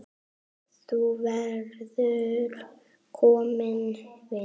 Þú verður kominn vinur.